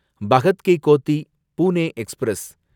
Bhagat ki Kothi Pune express